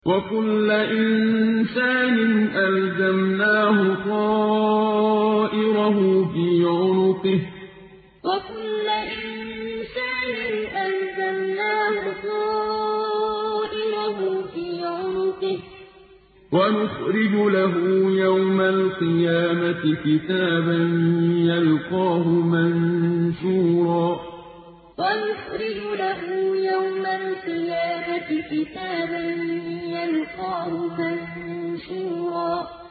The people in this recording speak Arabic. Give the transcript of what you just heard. وَكُلَّ إِنسَانٍ أَلْزَمْنَاهُ طَائِرَهُ فِي عُنُقِهِ ۖ وَنُخْرِجُ لَهُ يَوْمَ الْقِيَامَةِ كِتَابًا يَلْقَاهُ مَنشُورًا وَكُلَّ إِنسَانٍ أَلْزَمْنَاهُ طَائِرَهُ فِي عُنُقِهِ ۖ وَنُخْرِجُ لَهُ يَوْمَ الْقِيَامَةِ كِتَابًا يَلْقَاهُ مَنشُورًا